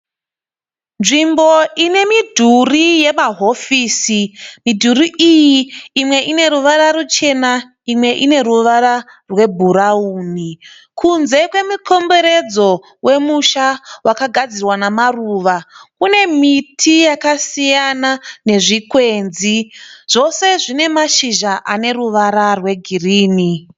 Nzvimbo ine midhuri yemahofisi, midhuri iyi imwe ine ruvara ruchena imwe ine ruvara rwebhurauni. Kunze kwemikomberedzo wemusha wakagadzirwa nemaruva kune miti yakasiyana nezvikwenzi, zvose zvine mashinzha ane ruvara rwegirinhi.